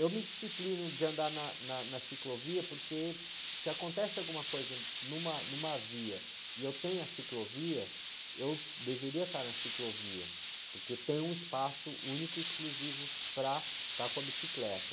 Eu me disciplino de andar na, na, na ciclovia, porque se acontece alguma coisa numa, numa via e eu tenho a ciclovia, eu deveria estar na ciclovia, porque tem um espaço único e exclusivo para estar com a bicicleta.